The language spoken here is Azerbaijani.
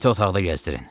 İti otaqda gəzdirin.